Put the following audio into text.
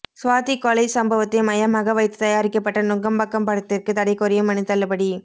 சுவாதி கொலை சம்பவத்தை மையமாக வைத்து தயாரிக்கப்பட்ட நுங்கம்பாக்கம் படத்திற்கு தடை கோரிய மனு தள்ளுபடி